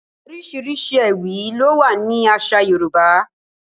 There are various kinds of poems in Yoruba culture